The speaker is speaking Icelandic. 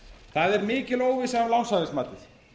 það er mikil óvissa um lánshæfismatið